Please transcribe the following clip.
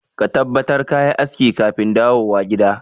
Ka tabbatar kayi aski kafin kadawo gida.